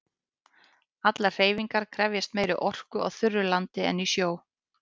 Allar hreyfingar krefjast meiri orku á þurru landi en í sjó.